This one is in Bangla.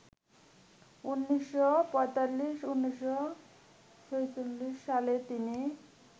১৯৪৫-১৯৪৬ সালে তিনি